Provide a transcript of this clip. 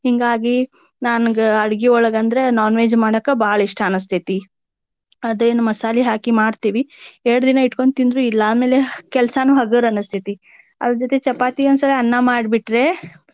ಹಿಂಗಾಗಿ ನನಗ ಅಡ್ಗಿಯೊಳಗ ಅಂದ್ರೆ non veg ಮಾಡಾಕ ಬಾಳ ಇಷ್ಟಾ ಅನಸ್ತೆತಿ. ಅದೇನ ಮಸಾಲಿ ಹಾಕಿ ಮಾಡ್ತೇವಿ. ಎರಡು ದಿನ ಇಟ್ಕೊಂಡ ತಿಂದ್ರು ಇಲ್ಲಾ ಆಮೇಲೆ ಕೆಲ್ಸನೂ ಹಗುರ ಅನಸ್ತೆತಿ. ಅದರ ಜೊತೆ ಚಪಾತಿ ಒಂದ ಸಲ ಅನ್ನ ಮಾಡಿ ಬಿಟ್ರೆ.